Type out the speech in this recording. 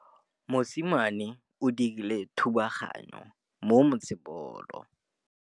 Mosimane o dirile thubaganyô mo motshamekong wa basebôlô.